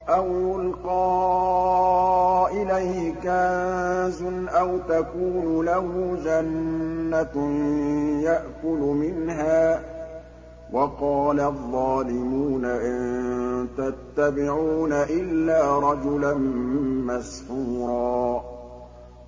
أَوْ يُلْقَىٰ إِلَيْهِ كَنزٌ أَوْ تَكُونُ لَهُ جَنَّةٌ يَأْكُلُ مِنْهَا ۚ وَقَالَ الظَّالِمُونَ إِن تَتَّبِعُونَ إِلَّا رَجُلًا مَّسْحُورًا